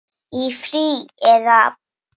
Í frí. eða?